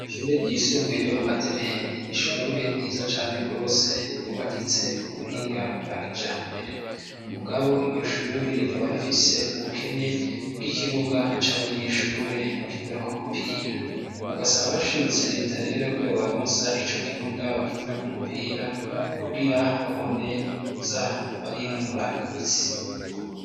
Ishure ry'isumbuye ryo mu Gatereni nishure giza cane rwose yubakitse ku buhinga bwa kija mbere umugabo iryo shuri rikaba rifise ubukene bw'ikibuga c'abanyeshure bakinira kumupira bagasaba bashimitse Reta rero ko ibo baronsa ico kibuga bakinira k'umupira kugira babone za barinonora imitsi.